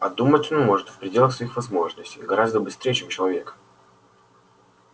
а думать он может в пределах своих возможностей гораздо быстрее чем человек